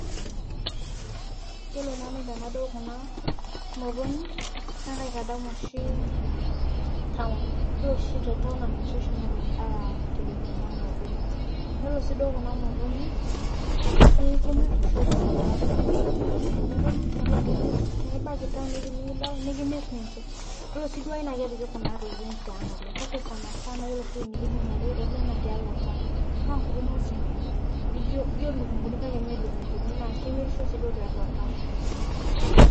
Yiolo nanu tenadol kuna motonyik naa kaitadamu oshi town ore oshi te town naa ninche oshi naanyorr aatipik kuna motonyik yiolo siii kuna motonyik kemirr oshi oltung'ani tiatua town, twenibaiki town ivi enikidol nikimirr ninche yiolo sii naa kepiki kuna tokitin tiang' oleng' kake sanasana yiolo oshi ewuei nikitumore oleng' naa town naa nkuti nguesin nijio ilukunguni kake mee ilikunguni naa kemirisho sii duo tiatua town.